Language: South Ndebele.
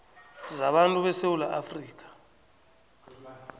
zabantu besewula afrika